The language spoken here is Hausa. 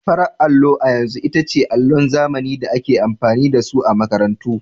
Farar allo a yanzu ita ce allon zamani da ake amfani da su a makarantu.